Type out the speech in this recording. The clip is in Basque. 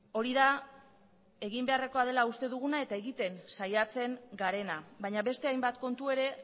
hori da egin beharrekoa dela uste duguna eta egiten saiatzen garena baina beste hainbat kontu ere